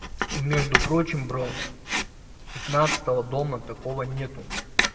и между прочим бро пятнадцатого дома такого нету